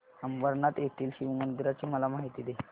अंबरनाथ येथील शिवमंदिराची मला माहिती दे